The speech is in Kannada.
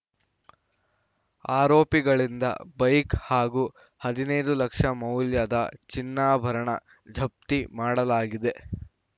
ಆರೋಪಿಗಳಿಂದ ಬೈಕ್‌ ಹಾಗೂ ಹದಿನೈದು ಲಕ್ಷ ಮೌಲ್ಯದ ಚಿನ್ನಾಭರಣ ಜಪ್ತಿ ಮಾಡಲಾಗಿದೆ